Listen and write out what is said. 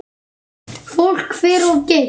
Fólk fer of geyst.